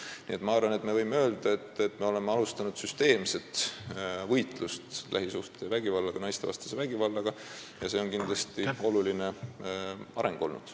Nii et ma arvan, et me võime öelda, et me oleme alustanud süsteemset võitlust lähisuhtevägivallaga ja naistevastase vägivallaga – see on kindlasti oluline areng.